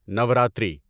Navratri